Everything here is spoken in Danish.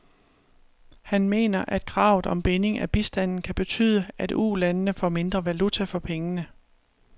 Han mener, at kravet om binding af bistanden kan betyde, at ulandene får mindre valuta for pengene.